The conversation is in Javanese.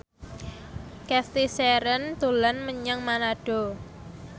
Cathy Sharon dolan menyang Manado